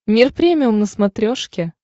мир премиум на смотрешке